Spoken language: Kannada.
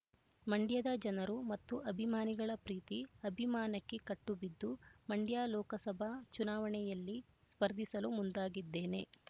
ಮಂಡ್ಯದ ಜನರು ಮತ್ತು ಅಭಿಮಾನಿಗಳ ಪ್ರೀತಿ ಅಭಿಮಾನಕ್ಕೆ ಕಟ್ಟುಬಿದ್ದು ಮಂಡ್ಯ ಲೋಕಸಭಾ ಚುನಾವಣೆಯಲ್ಲಿ ಸ್ಪರ್ಧಿಸಲು ಮುಂದಾಗಿದ್ದೇನೆ